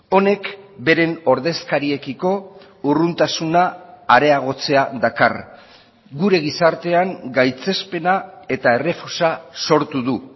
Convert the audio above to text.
honek beren ordezkariekiko urruntasuna areagotzea dakar gure gizartean gaitzespena eta errefusa sortu du